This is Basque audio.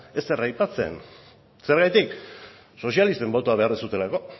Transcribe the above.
ezer aipatzen zergatik sozialisten botoa behar duzuelako